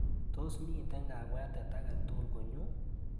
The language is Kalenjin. Tos miite kabwatet akatukul konyuu?